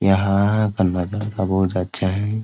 यहां का नजारा बहुत अच्छा है।